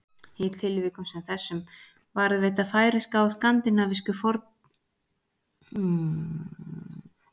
Í tilvikum sem þessum varðveita færeyska og skandinavísku málin fornan framburð betur en íslenska.